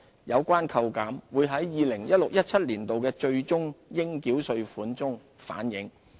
有關扣減會在 2016-2017 年度的最終應繳稅款反映。